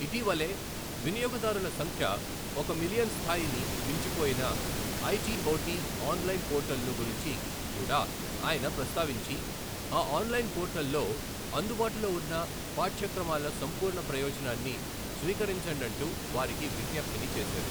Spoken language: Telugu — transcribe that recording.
ఇటీవలే వినియోగదారుల సంఖ్య ఒక మిలియన్ స్థాయిని మించిపోయిన ఐజీఓటీ ఆన్లైన్ పోర్టల్ ను గురించి కూడా ఆయన ప్రస్తావించి, ఆ ఆన్లైన్ పోర్టల్ లో అందుబాటులో ఉన్న పాఠ్యక్రమాల సంపూర్ణ ప్రయోజనాన్ని స్వీకరించండంటూ వారికి విజ్ఞప్తిని చేశారు.